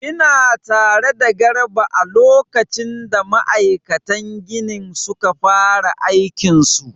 Ina tare da garba a lokacin da ma'aikatan ginin suka fara aikin su